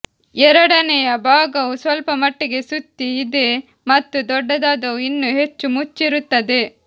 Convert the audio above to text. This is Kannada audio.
ಎರಡನೆಯ ಭಾಗವು ಸ್ವಲ್ಪಮಟ್ಟಿಗೆ ಸುತ್ತಿ ಇದೆ ಮತ್ತು ದೊಡ್ಡದಾದವು ಇನ್ನೂ ಹೆಚ್ಚು ಮುಚ್ಚಿರುತ್ತದೆ